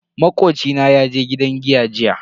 Makoci na yaje gidan giya jiya.